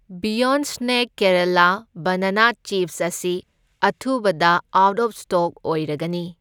Beyond snack Kerala banana chips ꯑꯁꯤ ꯑꯊꯨꯕꯗ out of stock ꯑꯣꯏꯔꯒꯅꯤ꯫